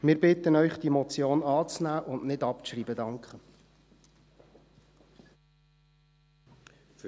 Wir bitten Sie, diese Motion anzunehmen und nicht abzuschreiben. .